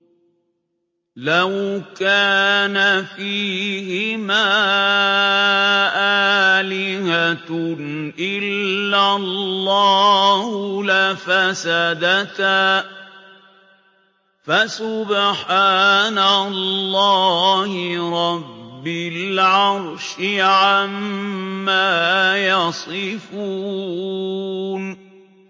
لَوْ كَانَ فِيهِمَا آلِهَةٌ إِلَّا اللَّهُ لَفَسَدَتَا ۚ فَسُبْحَانَ اللَّهِ رَبِّ الْعَرْشِ عَمَّا يَصِفُونَ